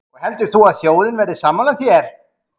Jóhanna: Og heldur þú að þjóðin verði sammála þér?